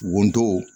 Wotoro